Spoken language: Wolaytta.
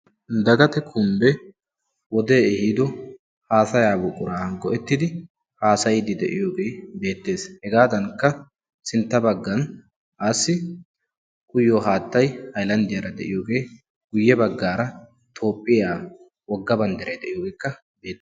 Dagate kumbbe wodee ehiido haasayaa buquran go'ettidi haasayiiddi de'iyogee beettees. Hegaadankka sintta baggan aassi uyiyo haattay hayilanddiyara de'iyogee guyye baggaara tophphiya wogga banddiray de'iyogeekka beettees.